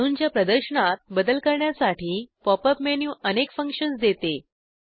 अणूंच्या प्रदर्शनात बदल करण्यासाठी पॉपअप मेनू अनेक फंक्शन्स देते